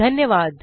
धन्यवाद